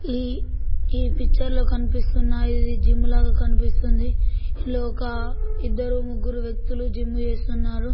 ఈ పిక్చర్ లో కనిపిస్తునది జిమ్ లాగా కనిపిస్తున్నది ఇందులో ఒక ఇద్దరు ముగ్గురు వ్యక్తులు జిమ్ చేస్తున్నారు.